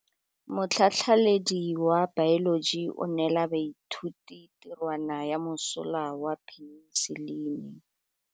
Motlhatlhaledi wa baeloji o neela baithuti tirwana ya mosola wa peniselene.